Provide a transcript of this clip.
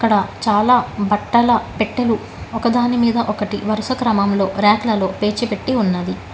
ఇక్కడ చాలా పట్టాల పెట్టెలు ఒకదాని మీద ఒకటి వరుస క్రమంలో ర్యాక్లలో పేర్చి పెట్టి ఉన్నాది.